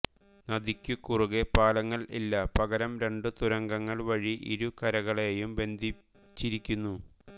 നദിക്കുകുറുകെ പാലങ്ങൾ ഇല്ല പകരം രണ്ടു തുരങ്കങ്ങൾ വഴി ഇരു കരകളെയും ബന്ധിച്ചിരിക്കുന്നു